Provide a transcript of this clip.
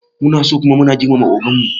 Munaso kuma muna girmama ogan mu